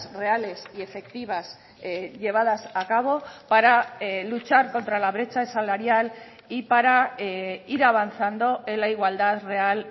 reales y efectivas llevadas a cabo para luchar contra la brecha salarial y para ir avanzando en la igualdad real